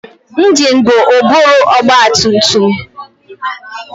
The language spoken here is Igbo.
Ingine bụ ụbụrụ ọgbatumtum.